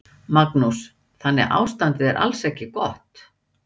Magnús: Þannig að ástandið er alls ekki gott?